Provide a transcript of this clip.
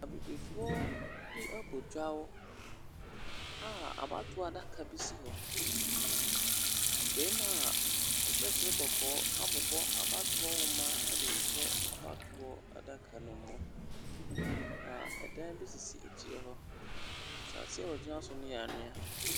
Abibifoɔ bi abɔ dwa a abatoɔ adaka bi si hɔ. Barima a ɔhyɛ soro kɔkɔɔ abobɔ abatoɔ nwoma de rehyɛ abatoɔ adaka no mu, na ɛdan bi sisi akyire hɔ. Asase a wɔgyina so no yw anwea.